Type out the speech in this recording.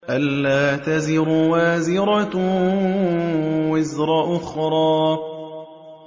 أَلَّا تَزِرُ وَازِرَةٌ وِزْرَ أُخْرَىٰ